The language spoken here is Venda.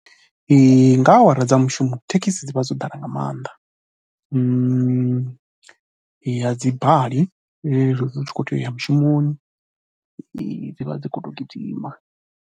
Nga awara dza mushumo thekhisi dzi vha dzo ḓala nga maanḓa, a dzi bali u tshi khou tea u ya mushumoni dzi vha dzi khou tou gidima.